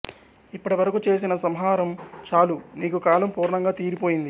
ఇప్పటి వరకు చేసిన సంహారం చాలు నీకు కాలం పూర్ణంగా తీరిపోయింది